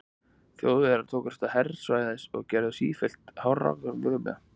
Þjóðverjar tóku að hervæðast og gerðust sífellt herskárri eftir því sem leið á fjórða áratuginn.